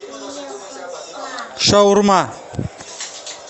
шаурма